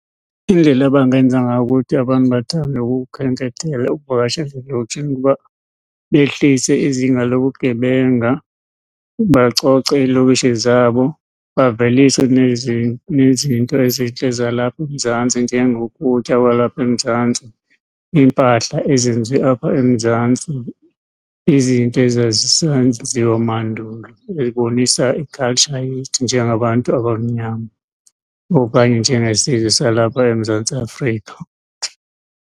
Indlela abangenza ngayo ukuthi abantu bathande ukukhenkethela, ukuvakashela ezilokishini kukuba behlise izinga lobugebenga, bacoce iilokishi zabo. Bavelise nezinto ezintle zalapha eMzantsi njengokutya kwalapha eMzantsi, iimpahla ezenziwe apha eMzantsi, izinto ezazisenziwa mandulo ezibonisa i-culture yethu njengabantu abamnyama okanye njengesizwe salapha eMzantsi Afrika.